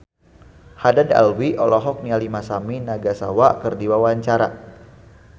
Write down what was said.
Haddad Alwi olohok ningali Masami Nagasawa keur diwawancara